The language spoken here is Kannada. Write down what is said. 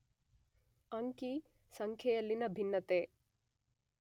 ಅಂಕಿ ಸಂಖ್ಯೆಯಲ್ಲಿನ ಭಿನ್ನತೆ